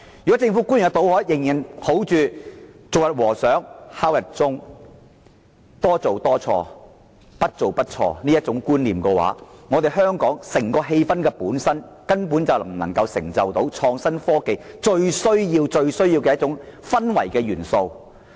如果政府官員仍然抱着"做一天和尚敲一天鐘"、多做多錯，不做不錯的觀念，香港根本不能營造到創新科技最需要的氛圍。